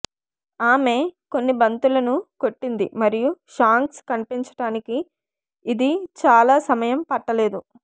ఆమె కొన్ని బంతులను కొట్టింది మరియు షాంక్స్ కనిపించటానికి ఇది చాలా సమయం పట్టలేదు